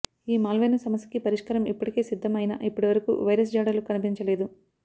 ఈ మాల్వేర్ను సమస్యకి పరిష్కారం ఇప్పటికే సిద్ధం అయిన ఇప్పటిరకు వైరస్ జాడలు కనిపించలేదు